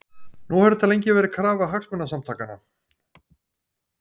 Nú hefur þetta lengi verið krafa Hagsmunasamtakanna?